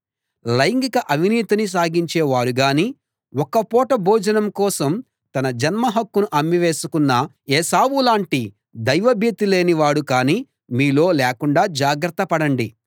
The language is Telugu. లైంగిక అవినీతిని సాగించేవారుగానీ ఒక్క పూట భోజనం కోసం తన జన్మహక్కును అమ్మి వేసుకున్న ఏశావులాంటి దైవభీతి లేని వాడు కానీ మీలో లేకుండా జాగ్రత్త పడండి